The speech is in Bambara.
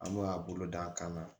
An b'a bolo d'a kan